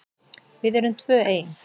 Við erum tvö ein.